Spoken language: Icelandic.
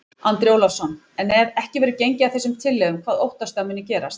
Andri Ólafsson: En ef ekki verður gengið að þessum tillögum, hvað óttastu að muni gerast?